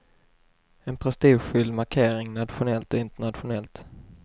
En prestigefylld markering, nationellt och internationellt.